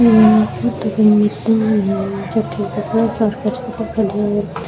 ये तो कोई मैदान है जेठ बोला सार का स्कूटर खड़ा है।